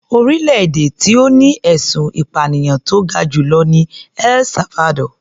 Orílẹ̀-èdè tó ní ẹ̀sùn ìpànìyàn tó ga jù lọ ni El Salvador.